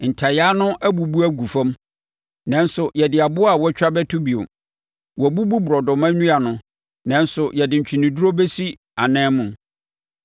“Ntayaa no abubu agu fam nanso yɛde aboɔ a wɔatwa bɛto bio. Wɔabubu borɔdɔma nnua no nanso yɛde ntweneduro bɛsi anan mu.”